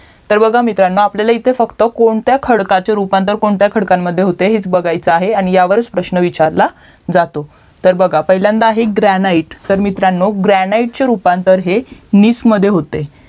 तर बघा मित्रांनो इथे फक्त कोणत्या खडकाचे रूपांतर कोणत्या खडकामध्ये होते हेच बघायचा आहे आणि हयावरच प्रश्न विचारलं जातो तर बघा पहिल्यांदा आहे ग्रानाइड तर मित्रांनो ग्रानाइडचे रूपांतर हे नीस मध्ये होते